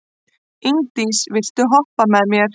Ingdís, viltu hoppa með mér?